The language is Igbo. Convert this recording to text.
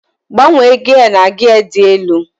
gbanwee gia na gia dị elu